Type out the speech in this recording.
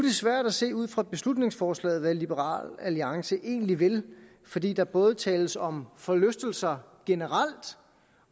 svært at se ud fra beslutningsforslaget hvad liberal alliance egentlig vil fordi der både tales om forlystelser generelt